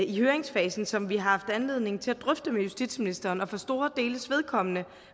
i høringsfasen som vi har haft anledning til at drøfte med justitsministeren og for store deles vedkommende